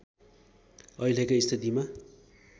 अहिलेकै स्थितिमा